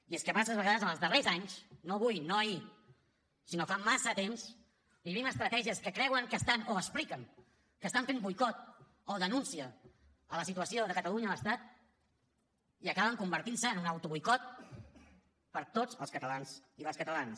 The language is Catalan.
i és que massa vegades en els darrers anys no avui no ahir sinó fa massa temps vivim estratègies que creuen que estan o expliquen que estan fent boicot o denúncia de la situació de catalunya a l’estat i acaben convertint se en un autoboicot per a tots els catalans i les catalanes